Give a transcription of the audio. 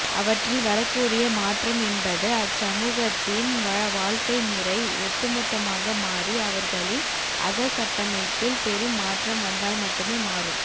அவற்றில் வரக்கூடிய மாற்றம் என்பது அச்சமூகத்தின் வாழ்க்கைமுறை ஒட்டுமொத்தமாக மாறி அவர்களின் அகக்கட்டமைப்பில் பெரும் மாற்றம் வந்தால்மட்டுமே மாறும்